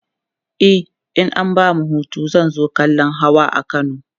e in an bani Hutu zan zo kallan Hawa a kano